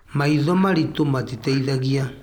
Maitho maritũ matiteithagia.